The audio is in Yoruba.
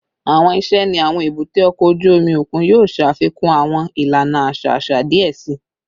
Awọn iṣẹ ni awọn ebute oko oju omi okun yoo ṣafikun awọn ilana aṣa aṣa diẹ sii